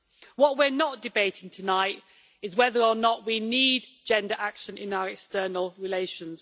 What we are not debating tonight is whether or not we need gender action in our external relations.